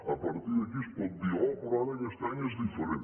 a partir d’aquí es pot dir oh però ara aquest any és diferent